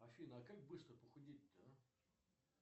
афина а как быстро похудеть то а